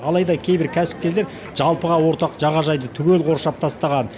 алайда кейбір кәсіпкерлер жалпыға ортақ жағажайды түгел қоршап тастаған